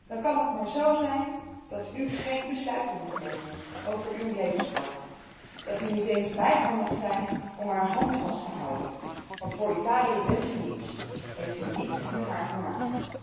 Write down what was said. Dan kan het maar zo zijn dat u geen besluiten mag nemen over uw levenspartner, dat u niet eens bij haar mag zijn om haar hand vast te houden, want voor Italië bent u niets, hebt u niets met haar te maken.